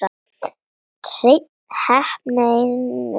Hrein heppni einu sinni enn.